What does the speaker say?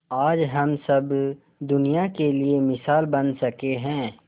आज हम सब दुनिया के लिए मिसाल बन सके है